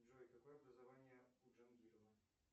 джой какое образование у джангирова